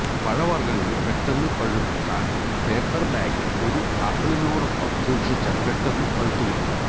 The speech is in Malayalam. പഴവർഗങ്ങൾ പെട്ടെന്ന് പഴുക്കാൻ പേപ്പർ ബാഗിൽ ഒരു ആപ്പിളിനോടൊപ്പം സൂക്ഷിച്ചാൽ പെട്ടെന്ന് പഴുത്തു കിട്ടും